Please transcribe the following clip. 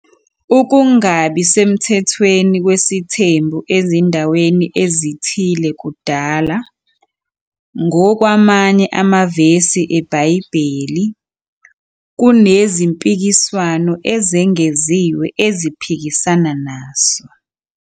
Ukungabi semthethweni kwesithembu ezindaweni ezithile kudala, ngokwamanye amavesi eBhayibheli, kunezimpikiswano ezengeziwe eziphikisana naso.